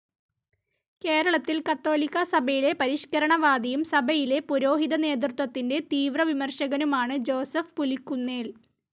കേരളത്തിൽ കത്തോലിക്കാസഭയിലെ പരിഷ്കരണവാദിയും സഭയിലെ പുരോഹിതനേതൃത്വത്തിന്റെ തീവ്രവിമർശകനുമാണ് ജോസഫ് പുലിക്കുന്നേൽ.